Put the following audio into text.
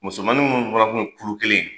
Musomanin minnu fana tun kuru kelen